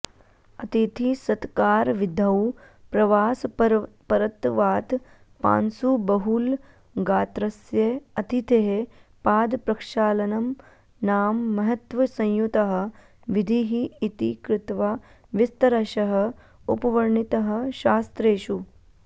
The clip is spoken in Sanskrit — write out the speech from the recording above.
अतिथिसत्कारविधौ प्रवासपरत्वात् पांसुबहुलगात्रस्य अतिथेः पादप्रक्षालनं नाम महत्त्वसंयुतः विधिः इति कृत्वा विस्तरशः उपवर्णितः शास्त्रेषु